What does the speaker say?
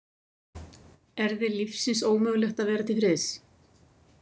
Er þér lífsins ómögulegt að vera til friðs?